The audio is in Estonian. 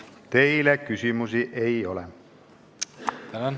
Teile küsimusi ei ole.